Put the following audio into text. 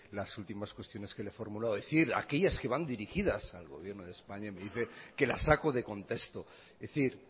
las últimas cuestiones que le formulo es decir aquellas que van dirigidas al gobierno de españa me dice que las saco de contexto es decir